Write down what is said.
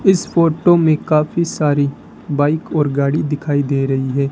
इस फोटो में काफी सारी बाइक और गाड़ी दिखाई दे रही है।